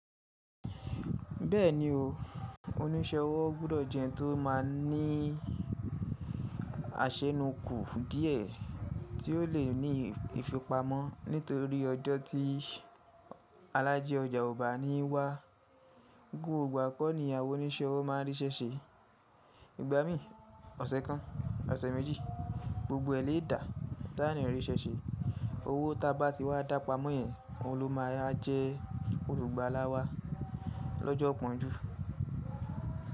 Bẹ́ẹ̀ni o, oníṣẹ́ owó gbúdọ̀ jẹ́ ẹni tó máa ní àsẹnukù díẹ̀ tí ó le ní ìfipamọ́ nítorí ọjọ́ tí alájí ọjà ọba níí wá. Ggògbò ígbá kọ́ ni àwọn oníṣẹ́ owó máa ríṣẹ́ṣe. Igbá mí ọ̀sẹ̀ kàn, ọ̀sẹ̀ méjì, gbògbò ẹ lẹ́ẹ̀dà táàní ríṣẹ́ṣe. Owó tá bá tí wá dá pamọ́ yẹn, òun ló máa jẹ́ olùgbàlà wá lọ́jọ́ ípònjú.